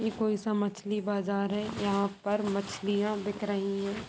ये कोई मछली बाजार है| यहा पर मछलियाँ बिक रही है।